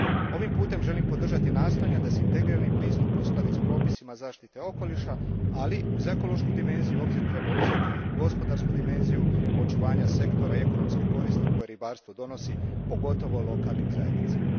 Ovim putem želim podržati nastojanja da se integrirani pristup uskladi s propisima zaštite okoliša, ali, uz ekološku dimenziju, u obzir treba uzeti i gospodarsku dimenziju očuvanja sektora i ekonomske koristi koje ribarstvo donosi, pogotovo lokalnim zajednicama.